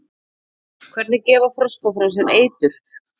hvernig gefa froskar frá sér eitur